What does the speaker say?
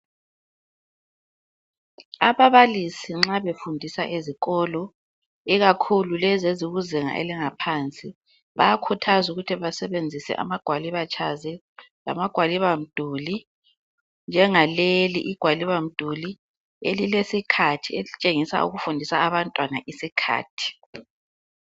Ababalisi nxa befundisa ezikolo ikakhulu lezi ezikuzinga elingaphansi bayakhuthazwa ukuthi basebenzise amagwaliba charts lamagwaliba mduli njengaleli igwalibamduli elilesikhathi elitshengisa ukufundisa abantwana isikhathi.